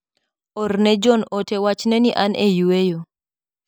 Orne John ote wachne ni an e yueyo.